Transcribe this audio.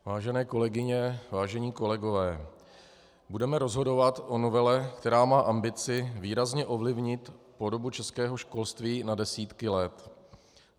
Vážené kolegyně, vážení kolegové, budeme rozhodovat o novele, která má ambici výrazně ovlivnit podobu českého školství na desítky let.